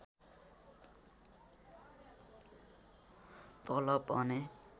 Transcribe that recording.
तलब भने